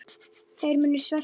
Þeir munu svelta.